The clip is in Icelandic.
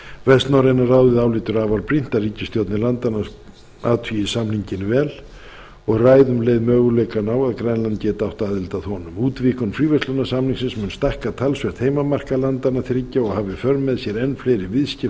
vestnorræna ráðið álítur afar brýnt að ríkisstjórnir landanna athugi samninginn vel og ræði um leið möguleikana á að grænland geti átt aðild að honum útvíkkun fríverslunarsamningsins mun stækka talsvert heimamarkað landanna þriggja og hafa í för með sér enn fleiri viðskipti